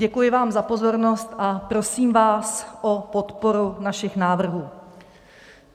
Děkuji vám za pozornost a prosím vás o podporu našich návrhů.